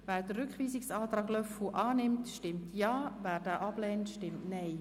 Wer den Rückweisungsantrag unterstützt, stimmt Ja, wer diesen ablehnt, stimmt Nein.